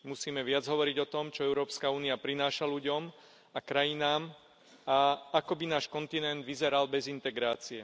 Musíme viac hovoriť o tom, čo Európska únia prináša ľuďom a krajinám a ako by náš kontinent vyzeral bez integrácie.